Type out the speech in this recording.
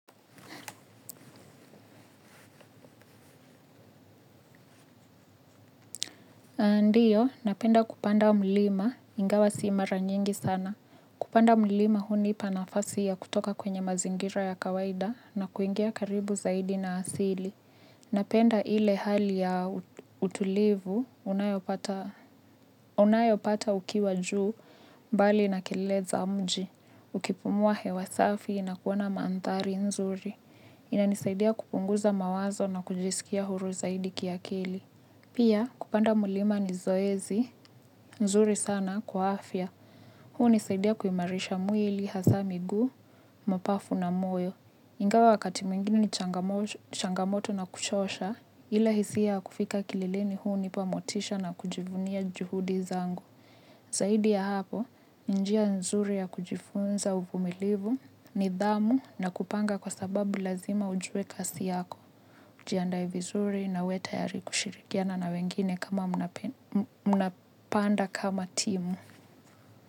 Ndiyo, napenda kupanda mlima, ingawa si mara nyingi sana. Kupanda mlima hunipa nafasi ya kutoka kwenye mazingira ya kawaida na kuingia karibu zaidi na asili. Napenda ile hali ya utulivu, unayopata ukiwa juu, mbali na kelele za mji, ukipumua hewa safi na kuona maantari nzuri. Inanisaidia kupunguza mawazo na kujisikia huru zaidi kiakili. Pia kupanda mulima ni zoezi, nzuri sana kwa afya. Hunisaidia kuimarisha mwili hasa miguu, mapafu na moyo. Ingawa wakati mwingine ni changamoto na kuchosha, ila hisia kufika kilileleni hunipa motisha na kujivunia juhudi zangu. Zaidia ya hapo, ni njia nzuri ya kujifunza uvumilivu nidhamu na kupanga kwa sababu lazima ujue kasi yako. Jiandae vizuri na uwetayari kushirikiana na wengine kama mnapanda kama timu.